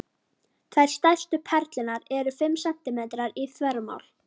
Tvær stærstu perlurnar eru fimm sentímetrar í þvermál.